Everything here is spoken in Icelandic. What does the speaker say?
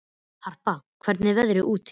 Harpa, hvernig er veðrið úti?